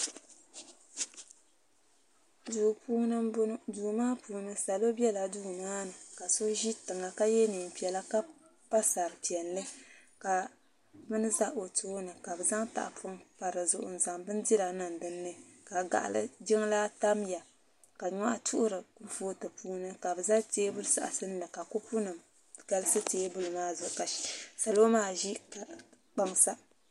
Duu puuni m boŋɔ duu maa puuni salo biɛla duu maani ka so ʒi tiŋa ka ye niɛn'piɛla ka a sari'piɛli ka bini za o tooni ka bɛ zaŋ tahapoŋ pa dizuɣu n zaŋ bindira niŋ dinni ka jiŋlaa tamya ka nyohi tuɣuri kurupotu puuni ka bɛ zali teebuli saɣasinli ka kopu nima galisi teebuli maa zuɣu ka salo maa ʒi kpaŋ sa.